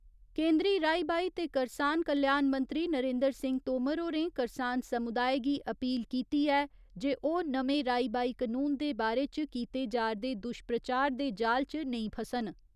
केंदरी राई बाई ते करसान कल्याण मंत्री नरेन्द्र सिंह तोमर होरें करसान समुदाय गी अपील कीती ऐ जे ओह् नमें राई बाई कनून दे बारे च कीते जा'रदे दुश्प्रचार दे जाल च नेंई फसन।